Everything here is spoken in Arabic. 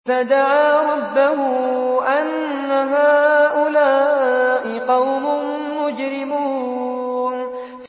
فَدَعَا رَبَّهُ أَنَّ هَٰؤُلَاءِ قَوْمٌ مُّجْرِمُونَ